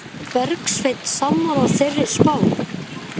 Er Bergsveinn sammála þeirri spá?